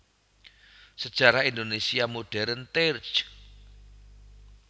Sejarah Indonésia Modern terj